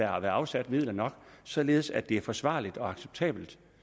afsat midler nok således at det er forsvarligt og acceptabelt